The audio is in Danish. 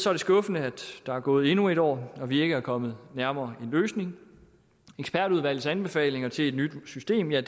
er det skuffende at der er gået endnu et år og vi ikke er kommet nærmere en løsning ekspertudvalgets anbefalinger til et nyt system er